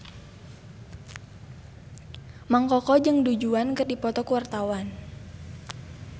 Mang Koko jeung Du Juan keur dipoto ku wartawan